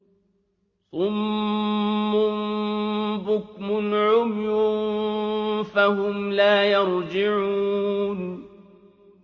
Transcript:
صُمٌّ بُكْمٌ عُمْيٌ فَهُمْ لَا يَرْجِعُونَ